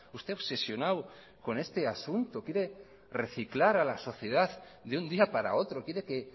usted obsesionado con este asunto quiere reciclar a la sociedad de un día para otro quiere que